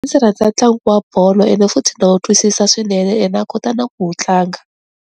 Ndzi rhandza ntlangu wa bolo ene futhi na wu twisisa swinene ene na kota na ku wu tlanga.